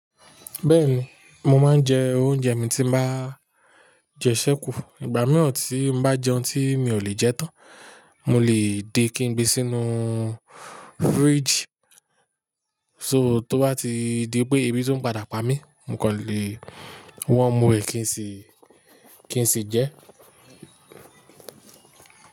Bẹ́ẹ̀ni, mo máa ń jẹ oúnjẹ mi tí màá jẹ sẹ́kù. Ìgbà míràn tí màá jẹun tí mi ò lè jẹ tán, mo lè dé kí n gbé sínú fridge. So tó bá ti dé pé ibi tí ń padà pá mi, mo kò lè wọ́n mú ẹ kí n sì, kí n sì jẹ.